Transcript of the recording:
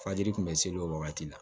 Fajiri tun bɛ seli o wagati la